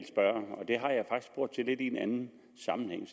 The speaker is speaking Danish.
en anden sammenhæng